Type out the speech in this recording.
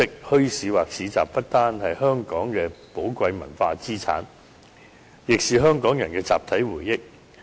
墟市或市集不單是香港的寶貴文化資產，亦是香港人的集體回憶。